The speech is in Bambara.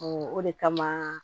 o de kama